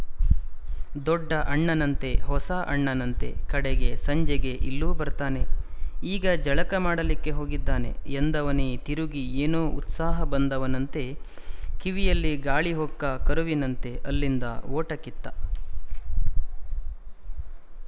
ದೊಡ್ಡ ಅಣ್ಣನಂತೆ ಹೊಸಾ ಅಣ್ಣನಂತೆ ಕಡೆಗೆ ಸಂಜೆಗೆ ಇಲ್ಲೂ ಬರ್ತಾನೆ ಈಗ ಜಳಕ ಮಾಡಲಿಕ್ಕೆ ಹೋಗಿದ್ದಾನೆ ಎಂದವನೇ ತಿರುಗಿ ಏನೋ ಉತ್ಸಾಹ ಬಂದವನಂತೆ ಕಿವಿಯಲ್ಲಿ ಗಾಳಿ ಹೊಕ್ಕ ಕರುವಿನಂತೆ ಅಲ್ಲಿಂದ ಓಟ ಕಿತ್ತ